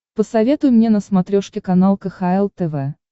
посоветуй мне на смотрешке канал кхл тв